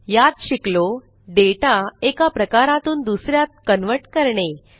यात शिकलो डेटा एका प्रकारातून दुस यात कन्व्हर्ट करणे